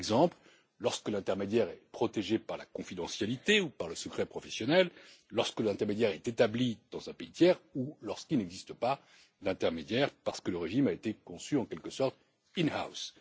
Par exemple, lorsque l'intermédiaire est protégé par la confidentialité ou par le secret professionnel, lorsque l'intermédiaire est établi dans un pays tiers ou lorsqu'il n'existe pas d'intermédiaire parce que le régime a été conçu en quelque sorte in house